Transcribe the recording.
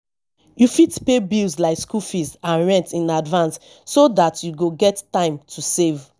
you fit pay bills like school fees and rent in advance so dat you go get time to save